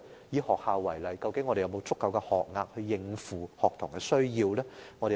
以學校為例，我們是否有足夠的學額應付學童的需要？